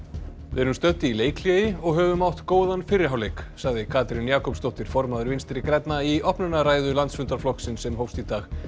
við erum stödd í leikhléi og höfum átt góðan fyrri hálfleik sagði Katrín Jakobsdóttir formaður Vinstri grænna í opnunarræðu landsfundar flokksins sem hófst í dag